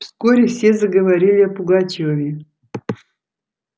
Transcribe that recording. вскоре все заговорили о пугачёве